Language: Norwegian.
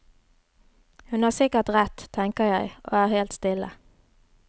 Hun har sikkert rett, tenker jeg, og er helt stille.